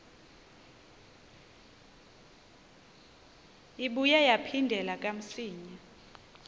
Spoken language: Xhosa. ibuye yaphindela kamsinya